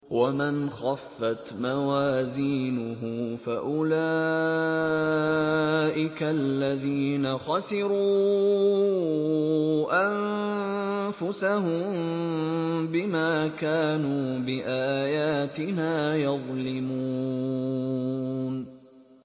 وَمَنْ خَفَّتْ مَوَازِينُهُ فَأُولَٰئِكَ الَّذِينَ خَسِرُوا أَنفُسَهُم بِمَا كَانُوا بِآيَاتِنَا يَظْلِمُونَ